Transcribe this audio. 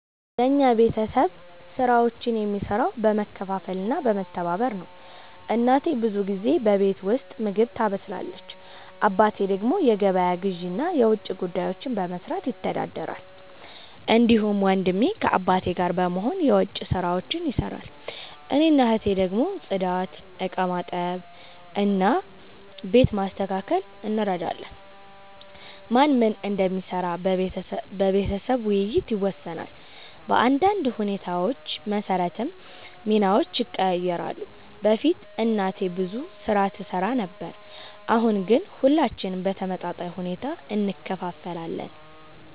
የኛ ቤተሰብ ስራዎችን የሚሰራው በመካፈል እና በመተባበር ነው። እናቴ ብዙ ጊዜ በቤት ውስጥ ምግብ ታበስላለች። አባቴ ደግሞ የገበያ ግዢ እና የውጭ ጉዳዮችን በመስራት ይተዳደራል። እንዲሁም ወንድሜ ከአባቴ ጋር በመሆን የዉጭ ስራዎች ይሰራል። እኔና እህቴ ደግሞ ጽዳት፣ ዕቃ በማጠብ እና ቤት በማስተካከል እንረዳለን። ማን ምን እንደሚሰራ በቤተሰብ ውይይት ይወሰናል፣ በአንዳንድ ሁኔታዎች መሰረትም ሚናዎች ይቀያየራሉ። በፊት እናቴ ብዙ ስራ ትሰራ ነበር፣ አሁን ግን ሁላችንም በተመጣጣኝ ሁኔታ እንካፈላለን።